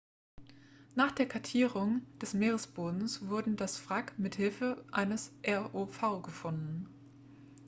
nach der kartierung des meeresbodens wurde das wrack mithilfe eines rov gefunden